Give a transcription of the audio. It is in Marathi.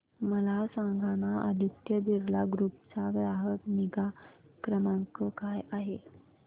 मला सांगाना आदित्य बिर्ला ग्रुप चा ग्राहक निगा क्रमांक काय आहे